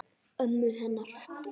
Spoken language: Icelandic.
Ömmu hennar.